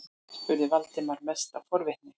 spurði Valdimar, mest af forvitni.